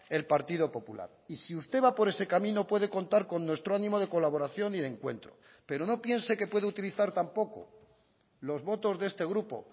el partido popular y si usted va por ese camino puede contar con nuestro ánimo de colaboración y de encuentro pero no piense que puede utilizar tampoco los votos de este grupo